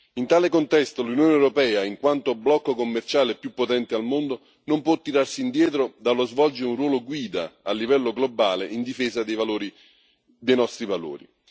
In tale contesto l'Unione europea, in quanto blocco commerciale più potente al mondo, non può tirarsi indietro dallo svolgere un ruolo guida a livello globale in difesa dei nostri valori.